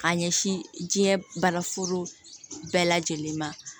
Ka ɲɛsin diɲɛ bana foro bɛɛ lajɛlen ma